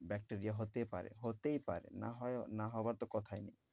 Bacteria হতে পারে হতেই পারে না হয়~ না হওয়ার তো কথাই নেই।